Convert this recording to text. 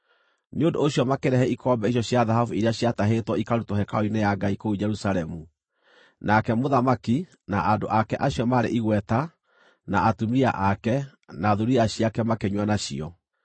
Nĩ ũndũ ũcio makĩrehe ikombe icio cia thahabu iria ciatahĩtwo ikarutwo hekarũ-inĩ ya Ngai kũu Jerusalemu. Nake mũthamaki, na andũ ake acio maarĩ igweta, na atumia ake, na thuriya ciake makĩnyua nacio.